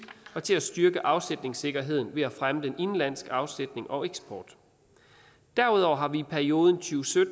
og til at styrke afsætningssikkerheden ved at fremme den indenlandske afsætning og eksporten derudover har vi i perioden to tusind og